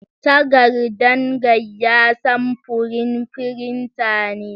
Tagardan gaiya samfurin firinta ne.